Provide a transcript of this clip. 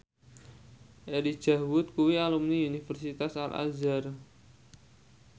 Elijah Wood kuwi alumni Universitas Al Azhar